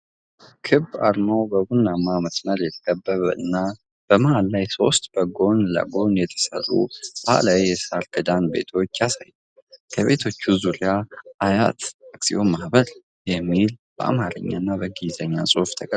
ክብ አርማው በቡናማ መስመር የተከበበ እና መሃል ላይ ሦስት በጎን ለጎን የተሰሩ ባህላዊ የሳር ክዳን ቤቶችን ያሳያል። ከቤቶቹ ዙሪያ "አያት አክሲዮን ማህበር" የሚለ በአማርኛና በእንግሊዝኛ ጽሑፍ ተቀርጿል።